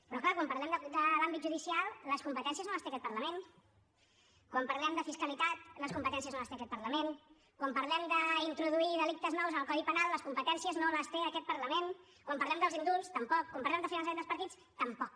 però clar quan parlem de l’àmbit judicial les competències no les té aquest parlament quan parlem de fiscalitat les competències no les té aquest parlament quan parlem d’introduir delictes nous en el codi penal les competències no les té aquest parlament quan parlem dels indults tampoc quan parlem de finançament dels partits tampoc